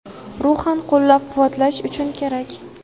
ruhan qo‘llab quvvatlash uchun kerak.